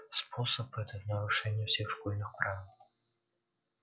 способ этот нарушение всех школьных правил